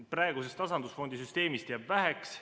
Praegusest tasandusfondi süsteemist jääb väheks.